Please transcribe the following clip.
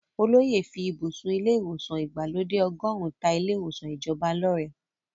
Olóyè fí ibùsùn ilé ìwòsàn ìgbàlódé ọgọ́run ta ilé ìwòsàn ìjọba lọ́rẹ.